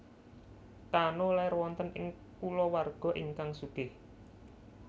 Kano lair wonten ing kulawarga ingkang sugih